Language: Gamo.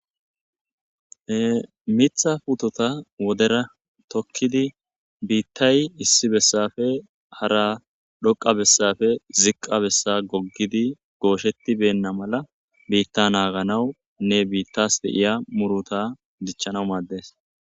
Ee miththa putteta wodera tokkidi bittayi issi bessappe hara dhoqqa besappe ziqqa bessa gogidi gosheti beena mala bitta naganawunne bittas de'iya motrutta dichanaw maddes.